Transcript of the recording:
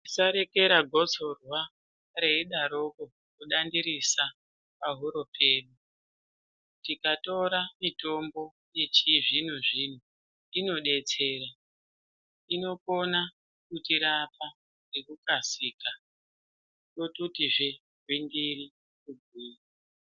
Musarekera gotsorwa reidaroko kudandirisa pahuro pedu, tikatora mitombo yechizvinozvino inodetsera ,inokona kutirapa nekukasika tototizve gwindiri kugwinya